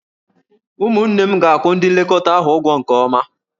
Ụmụnne m ga-akwụ ndị nlekọta ahụ ụgwọ nke ọma.